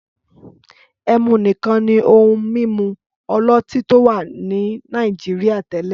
Ẹmu nìkan ni ohun-mímu ọlọ́tí tó wà ní Nàìjíríà tẹ́lẹ̀.